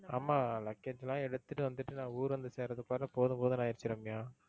ஆமா luggage லாம் எடுத்துட்டு வந்துட்டு நான் ஊர் வந்து சேருறதுக்குள்ளாரா போதும் போதும்னு ஆயிடுச்சு ரம்யா.